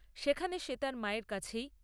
সেখানে সে তার মায়ের কাছেই